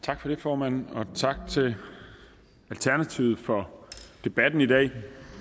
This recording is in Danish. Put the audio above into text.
tak for det formand og tak til alternativet for debatten i dag